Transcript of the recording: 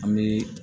An bɛ